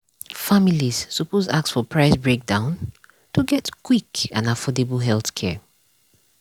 families suppose ask for price breakdown to get quick and affordable healthcare.